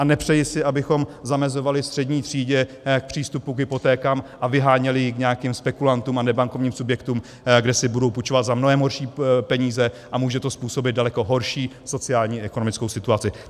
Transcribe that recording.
A nepřeji si, abychom zamezovali střední třídě v přístupu k hypotékám a vyháněli ji k nějakým spekulantům a nebankovním subjektům, kde si budou půjčovat za mnohem horší peníze, a může to způsobit daleko horší sociálně-ekonomickou situaci.